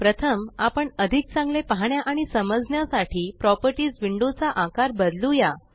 प्रथम आपण अधिक चांगले पाहण्या आणि समजण्या साठी प्रॉपर्टीस विंडो चा आकार बदलूया